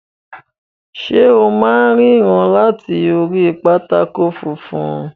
Ṣe o máa n ríran láti orí pátákó funfun?